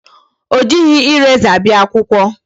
O jighị eraser bịa akwụkwọ.